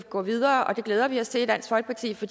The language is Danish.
gå videre det glæder vi os til i dansk folkeparti for